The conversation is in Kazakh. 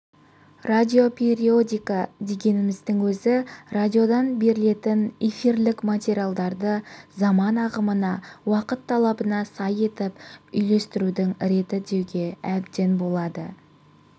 радиопериодика дегеніміздің өзі радиодан берілетін эфирлік материалдарды заман ағымына уақыт талабына сай етіп үйлестірудің реті деуге әбден болады